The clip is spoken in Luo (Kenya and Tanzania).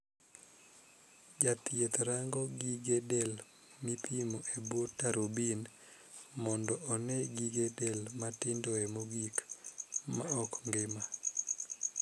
Jathieth rango gige del mipimo e bwo tarubin mondo onee gige del matindoe mogik ma ok ngima.